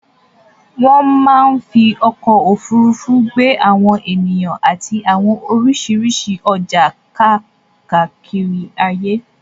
Wọ́n máa ń fí ọkọ̀ ofurufu gbé àwọn ènìyàn àti àwọn oríṣiríṣi ọjà kakiri àgbáyé